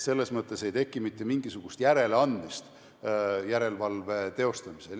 Selles mõttes ei teki mitte mingisugust järeleandmist järelevalve teostamisel.